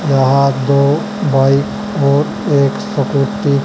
यहा दो ब्वॉयज ओर एक सफ़ेद टी --